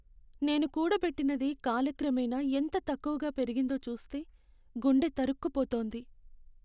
నేను కూడబెట్టినది కాలక్రమేణా ఎంత తక్కువగా పెరిగిందో చూస్తే గుండె తరుక్కుపోతుంది.